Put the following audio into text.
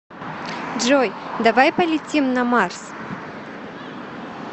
джой давай полетим на марс